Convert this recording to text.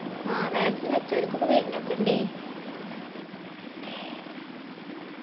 ആ vaccine വെച്ചരിക്കും ഇപ്പൊ വരിണൊക്കെ ഇണ്ടീ